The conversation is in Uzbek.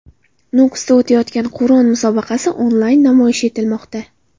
Nukusda o‘tayotgan Qur’on musobaqasi onlayn namoyish etilmoqda.